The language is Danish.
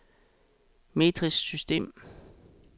metrisk system